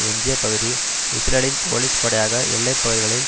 எஞ்சிய பகுதி இஸ்ரேலின் போலீஸ் படையாக எல்லை பகுதிகளில்